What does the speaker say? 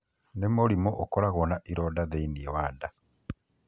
Nĩ mũrimũ ũkoragwo na ironda thĩinĩ wa nda.